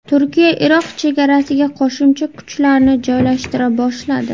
Turkiya Iroq chegarasiga qo‘shimcha kuchlarni joylashtira boshladi.